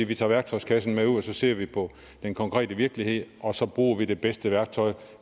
vi tager værktøjskassen med ud og så ser vi på den konkrete virkelighed og så bruger vi det bedste værktøj